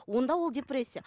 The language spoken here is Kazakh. онда ол депрессия